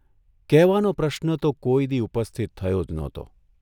કહેવાનો પ્રશ્ન તો કોઇ દિ ' ઉપસ્થિત થયો જ નહોતો !